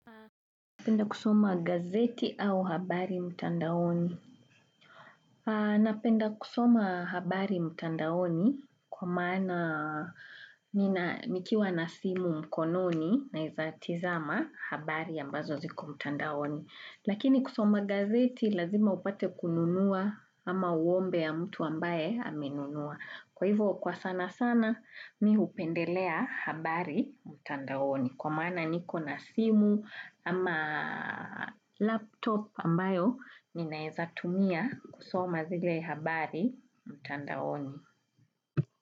Napenda kusoma gazeti au habari mutandaoni. Napenda kusoma habari mutandaoni kwa maana nikiwa na simu mkononi naeza tizama habari ambazo ziko mtandaoni. Lakini kusoma gazeti lazima upate kununua ama uombe ya mtu ambaye amenunua. Kwa hivyo kwa sana sana mi hupendelea habari mtandaoni. Kwa maana niko na simu ama laptop ambayo ninaeza tumia kusoma zile habari mtandaoni.